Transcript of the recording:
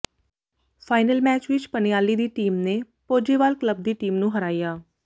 final match ਵਿੱਚ ਪਨਿਆਲੀ ਦੀ team ਨੇ ਪੋਜੇਵਾਲ ਕਲੱਬ ਦੀ ਟੀਮ ਨੂੰ ਹਰਾਇਆ